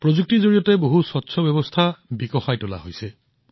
প্ৰযুক্তিৰ জৰিয়তে এটা অতি স্বচ্ছ প্ৰণালী বিকশিত কৰা হৈছে